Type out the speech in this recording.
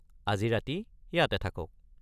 আজি ৰাতি ইয়াতে থাকক।